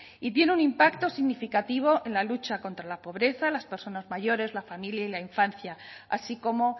y tiene un impacto significativo en la lucha contra la pobreza las personas mayores la familia y la infancia así como